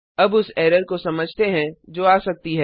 अब उस एरर को समझते हैं जो आ सकती है